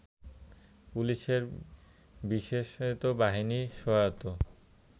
পুলিশের বিশেষায়িত বাহিনী সোয়াত